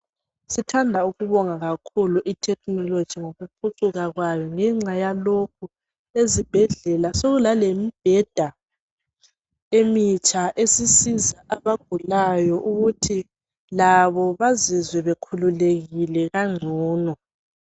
Sithanda ukubonga kakhulu i technology ngokuphucuka kwayo. Ngenxa yalokhu, ezibhedlela sekulalemibheda emitsha esisiza ogulayo ukuthi labo bazizwe bekhululekile kangcono.